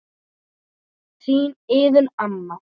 Þín Iðunn amma.